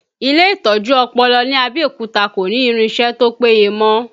Ile itọju ọpọlọ ní Abẹ́òkúta kò ní irinsẹ́ tó péye mọ